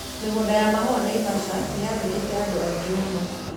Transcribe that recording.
Mĩgũnda ya mahũa Naivasha nĩyandĩkĩkĩte andũ aingĩ mũno